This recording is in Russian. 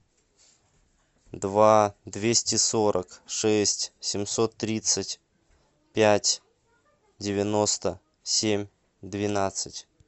два двести сорок шесть семьсот тридцать пять девяносто семь двенадцать